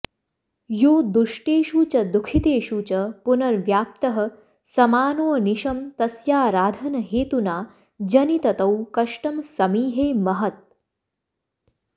यो दुष्टेषु च दुःखितेषु च पुनर्व्याप्तः समानोऽनिशं तस्याराधनहेतुना जनिततौ कष्टं समीहे महत्